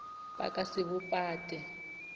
ba ka se bo pate